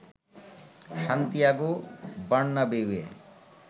Santiago বার্নাবেউয়ে